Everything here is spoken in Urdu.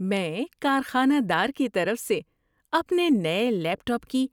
میں کارخانہ دار کی طرف سے اپنے نئے لیپ ٹاپ کی